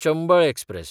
Chambal express